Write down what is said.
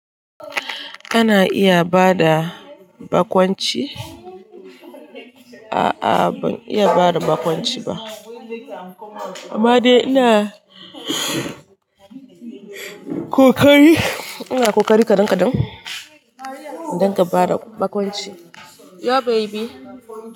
Kana iya bada bakonci? A'a ban iya bada bakonci ba. Amma dai ina kokari. Ina kokari kaɗan-kaɗan don ka fara bakonci. Yo baby.